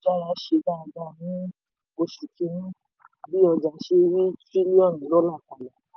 ṣe dáadáa ní oṣù kìíní bi ojà se ri tírílíọ̀nù dọ́là